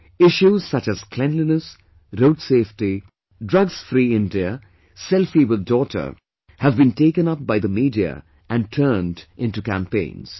Issues such as cleanliness, Road safety, drugs free India, selfie with daughter have been taken up by the media and turn into campaigns